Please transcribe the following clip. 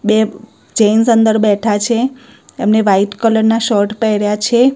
બે જેન્સ અંદર બેઠા છે એમને વ્હાઈટ કલર ના શર્ટ પેર્યા છે.